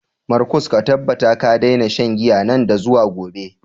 Markus, ka tabbata ka daina shan giya nan da zuwa gobe.